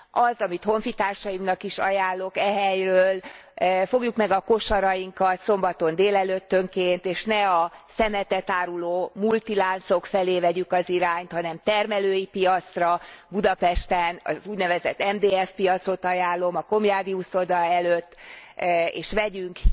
Az, amit honfitársaimnak is ajánlok e helyről fogjuk meg a kosarainkat szombaton délelőttönként, és ne a szemetet áruló multiláncok felé vegyük az irányt, hanem termelői piacra Budapesten az úgynevezett MDF piacot ajánlom a Komjádi uszoda előtt és vegyünk